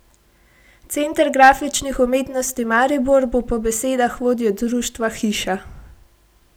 Center grafičnih umetnosti Maribor bo po besedah vodje društva Hiša!